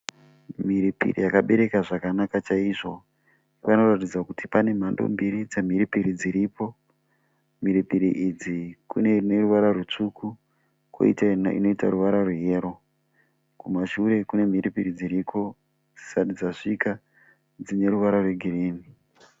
Mhiripiri yakabereka zvakanaka chaizvo. Panoratidza kuti pane mhando mbiri dzemhiripiri dziripo. Mhiripiri idzi kune ine ruvara rutsvuku kwoita inoita ruvara rweyero. Kumashure kune mhiripiri dziriko dzisati dzasvika dzine ruvara rwegirinhi.